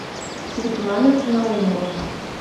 светлана наумова